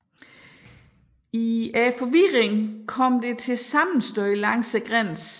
I forvirringen kom det til sammenstød langs grænsen